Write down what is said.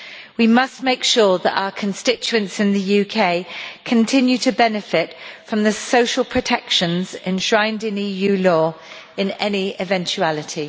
We must make sure that our constituents in the UK continue to benefit from the social protection enshrined in EU law, in any eventuality.